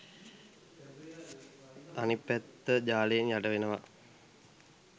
අනිත් පැත්ත ජලයෙන් යටවෙනවා